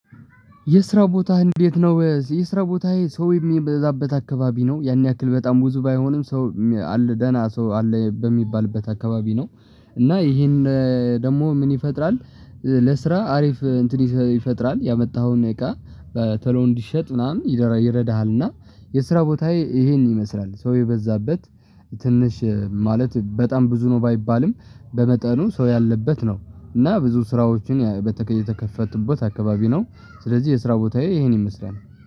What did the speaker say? የስራ ቦታ እንዴት? ነው የስራ ቦታ ሰው የሚበዛበት አካባቢ ነው ያን ያክል በጣም ብዙ ባይሆንም ሰው አል ደና ሰው አለ በሚባልበት አካባቢ ነው። እና ይሄን ደግሞ ምን ይፈጥራል? ለስራ አሪፍ እንትን ይፈጥራል ያመጣኸውን እቃ በቶሎው እንዲሸጥ ምናምን ይረዳሃል። እና የስራ ቦታዬ ይሄን ይመስላል ሰው የበዛበት ትንሽ ማለት በጣም ብዙ ነው። ባይባልም በመጠኑ ሰው ያለበት ነው። እና ብዙ ስራዎችን በተከፈቱበት አካባቢ ነው። ስለዚህ የስራ ቦታዬ ይሄን ይመስላል